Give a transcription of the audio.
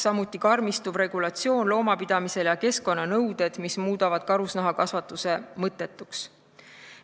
Samuti karmistuvad loomapidamise regulatsioon ja keskkonnanõuded, mis muudavad karusloomakasvatuse mõttetuks.